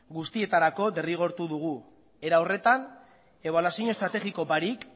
guztietarako derrigortu dugu era horretan ebaluazio estrategiko barik